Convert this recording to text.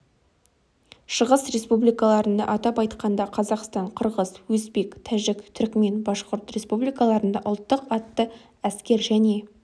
шығыс республикаларында атап айтқанда қазақстан қырғыз өзбек тәжік түрікмен башқұрт республикаларында ұлттық атты әскер және